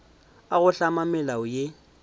a go hlama melao ya